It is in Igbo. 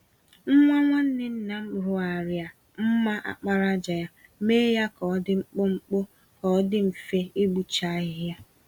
Nwa nwanne nna m rụgharịa mma àkpàràjà ya, mee ya k'ọdi mkpụmkpụ, k'ọdi mfe ịkpụcha ahịhịa.